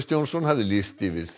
Johnson hafði lýst því yfir